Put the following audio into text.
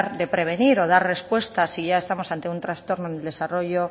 de prevenir o dar respuesta si ya estamos ante un trastorno en el desarrollo